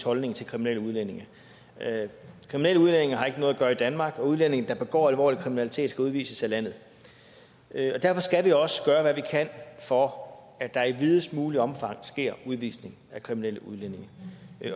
holdning til kriminelle udlændinge kriminelle udlændinge har ikke noget at gøre i danmark og udlændinge der begår alvorlig kriminalitet skal udvises af landet derfor skal vi også gøre hvad vi kan for at der i videst muligt omfang sker udvisning af kriminelle udlændinge